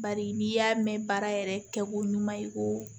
Bari n'i y'a mɛn baara yɛrɛ kɛkun ɲuman ye i ko